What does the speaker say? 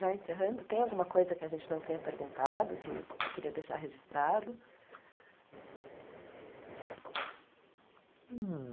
Já encerrando, tem alguma coisa que a gente não tenha perguntado, que você queria deixar registrado? Hum